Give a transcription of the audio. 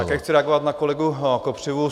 Také chci reagovat na kolegu Kopřivu.